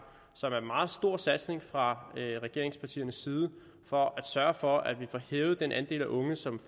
som er en meget stor satsning fra regeringspartiernes side for at sørge for at vi får hævet den andel af unge som